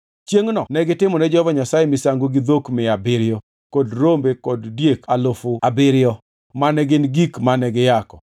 Chiengʼno negitimone Jehova Nyasaye misango gi dhok mia abiriyo kod rombe kod diek alufu abiriyo mane gin gik mane giyako.